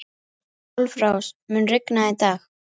Álfrós, mun rigna í dag?